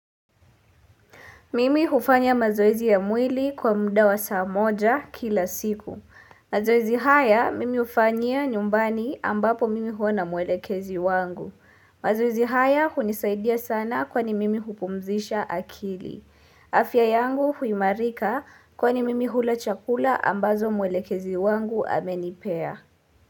Mimi hufanya mazoezi ya mwili kwa muda wa saa moja kila siku. Mazoezi haya mimi ufanyia nyumbani ambapo mimi huwa na mwelekezi wangu. Mazoezi haya hunisaidia sana kwani mimi hupumzisha akili. Afya yangu huimarika kwani mimi hula chakula ambazo mwelekezi wangu amenipea.